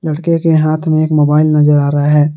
लड़के के हाथ में एक मोबाइल नजर आ रहा है।